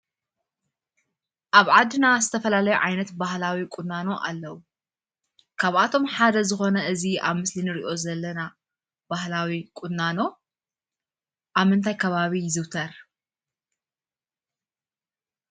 ኣብ ዓድና ዝተፈላለየ ዓይነት ባህላዊ ቁናኖ ኣለው። ካብኣቶም ሓደ ዝኮነ እዙይ ኣብ ምሰሊ እንርእዮ ዘለና ባህላዊ ቁናኖ ኣብ ምንታይ ከባቢ ይዝውተር?